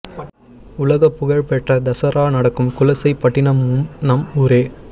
உலகப் புகழ் பெற்ற தசரா நடக்கும் குலசை பட்டினமும் நம் ஊரே